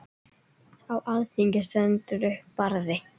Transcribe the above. Á alþingi stendur upp Barði